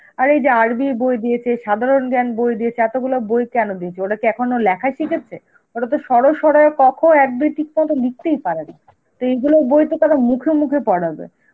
আর এই যে আরবির বই দিয়েছে, সাধারণ জ্ঞান বই দিয়েছে, এতগুলো বই কেনো দিয়েছে? ওরা কি এখনো লেখাই শিখেছে? ওরা তো অ আ ক খ, এক দুই ঠিক মতন লিখতেই পারেনা. তো এই গুলোর বইত তাহলে মুখে মুখে পড়াবে.